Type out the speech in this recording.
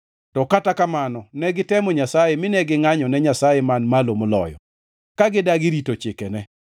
To kata kamano ne gitemo Nyasaye, mine gingʼanyone Nyasaye Man Malo Moloyo; ka gidagi rito chikene.